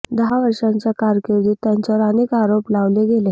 दहा वर्षांच्या कारकीर्दीत त्यांच्यावर अनेक आरोप लावले गेले